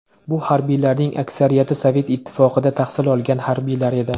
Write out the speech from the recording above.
Bu harbiylarning aksariyati Sovet Ittifoqida tahsil olgan harbiylar edi.